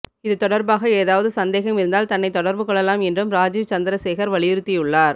இது தொடர்பாக ஏதாவது சந்தேகம் இருந்தால் தன்னைத் தொடர்பு கொள்ளலாம் என்றும் ராஜீவ் சந்திர சேகர் வலியுறுத்தியுள்ளார்